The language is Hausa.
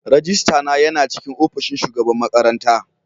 Rajistana yana cikin opishin shugaban makaranta.